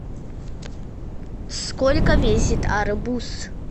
сколько весит арбуз